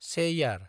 Cheyyar